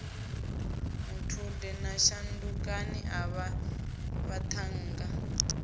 muthude na shandukani avha vhathannga